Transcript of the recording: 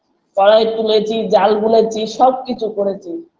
কড়াই তুলেছি জাল বুনেছি সবকিছু করেছি